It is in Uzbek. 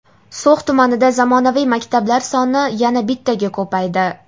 So‘x tumanida zamonaviy maktablar soni yana bittaga ko‘paydi.